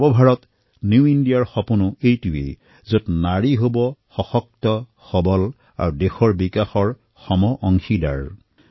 আমাৰ নিউ ইণ্ডিয়াৰ সপোনতো এয়াই যে নাৰী সশক্ত হওক সবল হওক দেশৰ সমগ্ৰ বিকাশৰ সমানে অংশীদাৰ হওক